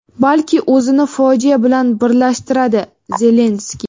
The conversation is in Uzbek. balki o‘zini fojia bilan birlashtiradi – Zelenskiy.